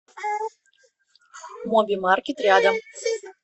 моби маркет рядом